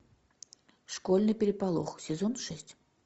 школьный переполох сезон шесть